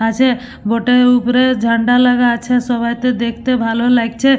আছে বটে উপরে ঝান্ডা লাগা আছে সবাইতে দেখতে ভালো লাগছে।